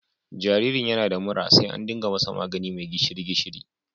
Jaririn yana da mura sai na ɗiga masa magani mai gishiri-gishiri..